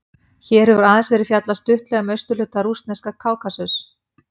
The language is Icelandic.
Hér hefur aðeins verið fjallað stuttlega um austurhluta rússneska Kákasus.